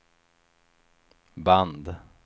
band